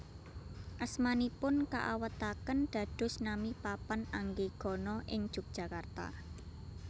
Asmanipun kaawètaken dados nami papan anggegana ing Jogjakarta